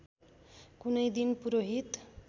कुनै दिन पुरोहित